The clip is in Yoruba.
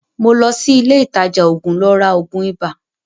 Mo lọ sí ilé ìtajà òògùn lọ ra òògùn ibà.